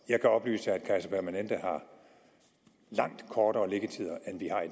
jeg kan oplyse at kaiser permanente har langt kortere liggetider end vi har